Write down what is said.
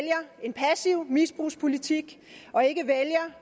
en passiv misbrugspolitik og ikke vælger